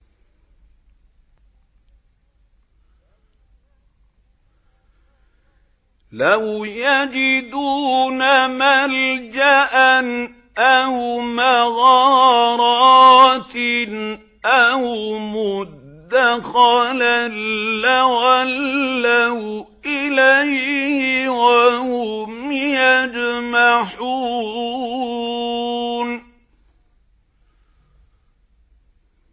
لَوْ يَجِدُونَ مَلْجَأً أَوْ مَغَارَاتٍ أَوْ مُدَّخَلًا لَّوَلَّوْا إِلَيْهِ وَهُمْ يَجْمَحُونَ